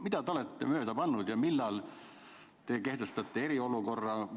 Millega te olete mööda pannud ja millal te kehtestate eriolukorra?